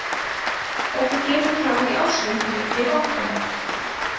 Þetta kemur fram í ársreikningi bankans